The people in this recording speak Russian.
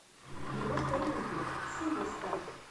киношка импи суперстар